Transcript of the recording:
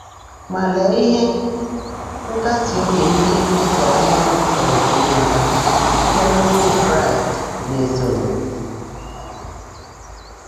Ma lee ihe nkasi obi ndị e tere mmanụ pụrụ inweta site n’okwu Kraịst na-esonụ!